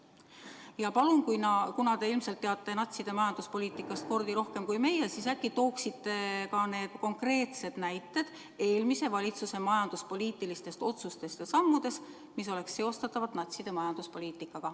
Ja palun, kuna te ilmselt teate natside majanduspoliitikast kordi rohkem kui meie, siis äkki tooksite ka konkreetsed näited eelmise valitsuse majanduspoliitiliste otsuste ja sammude kohta, mis oleks seostatavad natside majanduspoliitikaga.